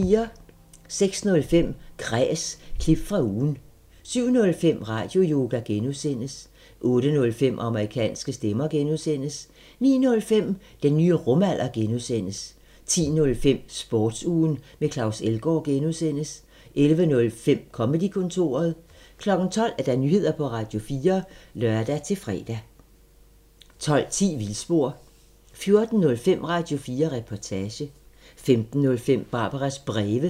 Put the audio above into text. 06:05: Kræs – klip fra ugen 07:05: Radioyoga (G) 08:05: Amerikanske stemmer (G) 09:05: Den nye rumalder (G) 10:05: Sportsugen med Claus Elgaard (G) 11:05: Comedy-kontoret 12:00: Nyheder på Radio4 (lør-fre) 12:10: Vildspor 14:05: Radio4 Reportage 15:05: Barbaras breve